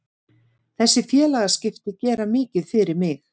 Þessi félagaskipti gera mikið fyrir mig.